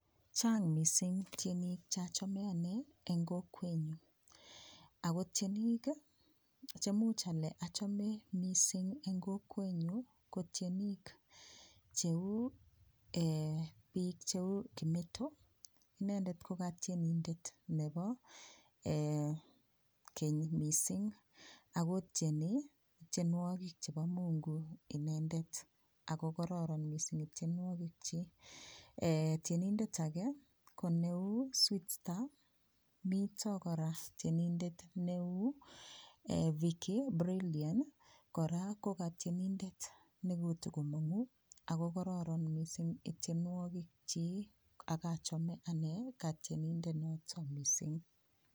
Chang mising tienik cheachame ane eng kokwenyu ako tienik chemuch ale achame mising en kokwenyu ko tienik cheu biik cheu kimeto inendet ko katienindet nebo keny mising akotieni tienwokik chebo mungu inendet akokororon mising itienwokik chii, tienindet age ko neu sweetstar mito kora tienindet neu Vickybrilian kora ko katienindet nekotokomongu Ako kororon mising itienwokik chii akochome ane katienindet noto mising.